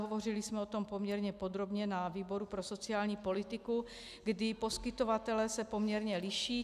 Hovořili jsme o tom poměrně podrobně na výboru pro sociální politiku, kdy poskytovatelé se poměrně liší.